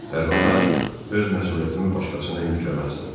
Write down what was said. Hər halda öz məsuliyyətimi başqasına yükləməzdim.